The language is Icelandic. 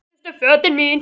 Síðustu fötin.